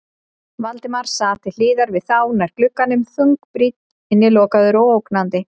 Valdimar sat til hliðar við þá, nær glugganum, þungbrýnn, innilokaður og ógnandi.